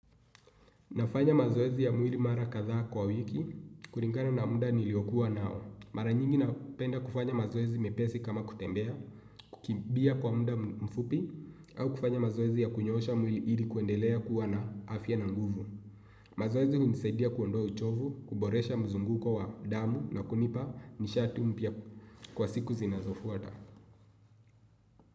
Nafanya mazoezi ya mwili mara kadhaa kwa wiki, kulingana na muda niliokuwa nao. Mara nyingi napenda kufanya mazoezi mepesi kama kutembea, kukimbia kwa muda mfupi, au kufanya mazoezi ya kunyoosha mwili ili kuendelea kuwa na afya na nguvu. Mazoezi hunisadia kuondoa uchovu, kuboresha mzunguko wa damu na kunipa nishati mpya kwa siku zinazofuata.